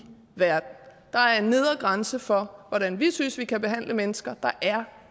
verden der er en nedre grænse for hvordan vi synes vi kan behandle mennesker der er